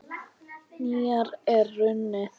Nýár er runnið!